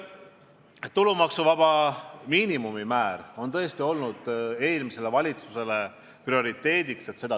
Tulumaksuvaba miinimumi määra tõstmine on tõesti olnud eelmise valitsuse prioriteet.